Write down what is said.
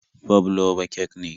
Fabloba kek ne.